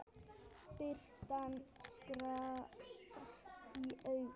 Birtan skar í augun.